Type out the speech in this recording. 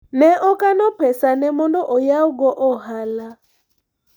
ne okano pesa ne mondo oyaw go ohala